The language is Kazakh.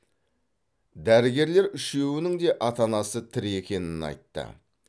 дәрігерлер үшеуінің де ата анасы тірі екенін айтты